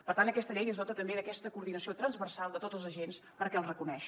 per tant aquesta llei es dota també d’aquesta coordinació transversal de tots els agents perquè els reconeix